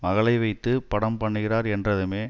மகளை வைத்து படம் பண்ணுகிறார் என்றதுமே